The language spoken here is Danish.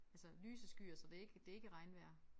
Altså lyse skyer så det ikke det ikke regnvejr